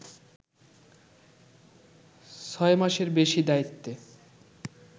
ছয় মাসের বেশি দায়িত্বে